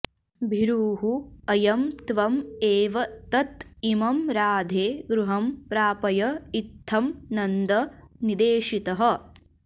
भीरुः अयम् त्वम् एव तत् इमम् राधे गृहम् प्रापय इत्थम् नन्द निदेशितः